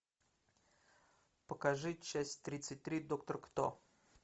покажи часть тридцать три доктор кто